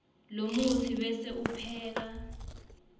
lomutsi bese upheka